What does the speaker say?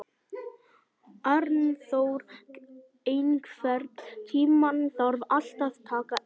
Arnþór, einhvern tímann þarf allt að taka enda.